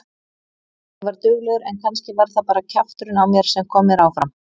Ég var duglegur en kannski var það bara kjafturinn á mér sem kom mér áfram.